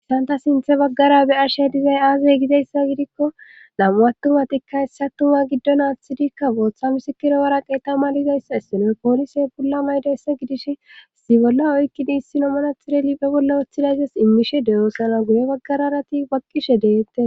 issanta sinthe baggara be ashe dizay aazey gizayssa gidikko lam7u attumatikka hessa tuma giddonaathtidikka booththa misikira wara qeeta malizayssa issinoe poolise bolla maydayssa gidish si bolla oykkini issino manathireli be bolla woththilayzas immishe dewosara guye baggararati baqqishe deyette